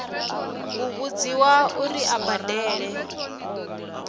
u vhudziwa uri a badele